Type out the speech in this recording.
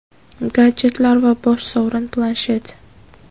gadjetlar va bosh sovrin – Planshet.